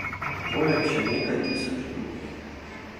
Poleg še nekaj tisoč drugih.